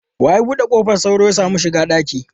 Wa ya bude kofar sauro ya samu shiga dakin?